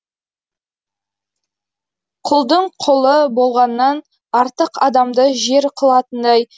құлдың құлы болғаннан артық адамды жер қылатындай